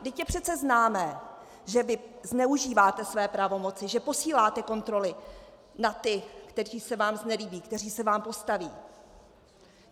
Vždyť je přece známé, že vy zneužíváte své pravomoci, že posíláte kontroly na ty, kteří se vám znelíbí, kteří se vám postaví.